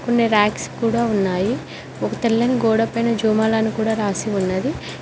కొన్ని ర్యాక్స్ కూడా ఉన్నాయి ఒక తెల్లని గోడపై జూమాల్ అని కూడ రాసి ఉన్నది.